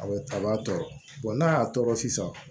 A bɛ a b'a tɔɔrɔ n'a y'a tɔɔrɔ sisan